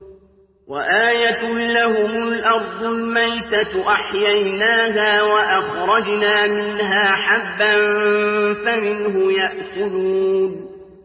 وَآيَةٌ لَّهُمُ الْأَرْضُ الْمَيْتَةُ أَحْيَيْنَاهَا وَأَخْرَجْنَا مِنْهَا حَبًّا فَمِنْهُ يَأْكُلُونَ